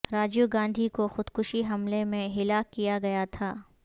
راجیو گاندھی کو خودکش حملہ میں ہلاک کیا گیا تھا